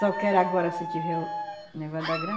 Só quer agora se tiver o negócio da